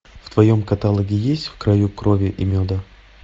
в твоем каталоге есть в краю крови и меда